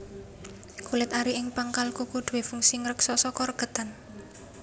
Kulit ari ing pangkal kuku duwé fungsi ngreksa saka regetan